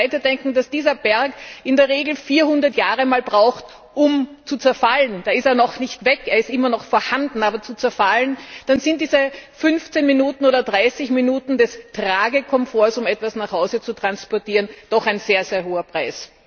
Wenn wir dann weiterdenken, dass dieser Berg in der Regel 400 Jahre braucht, um zu zerfallen da ist er noch nicht weg, er ist immer noch vorhanden, nur zerfallen dann ist das für diese 15 oder 30 Minuten des Tragekomforts, um etwas nach Hause zu transportieren, doch ein sehr hoher Preis.